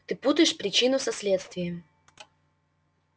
ты путаешь причину со следствием